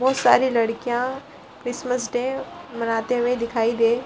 बहुत सारी लड़कियां क्रिसमस डे मनाते हुए दिखाई दे --